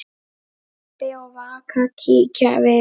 Rebbi og Vaka kíkja við.